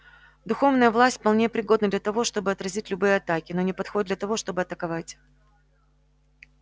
духовная власть вполне пригодна для того чтобы отразить любые атаки но не подходит для того чтобы атаковать